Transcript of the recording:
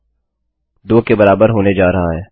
2 के बराबर होने जा रहा है